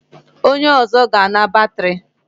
Onye ọzọ ga-ana batrị.